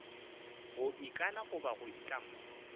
go ikana goba go itlama